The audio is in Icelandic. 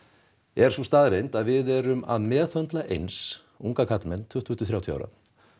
er sú staðreynd að við erum að meðhöndla eins unga karlmenn tuttugu til þrjátíu ára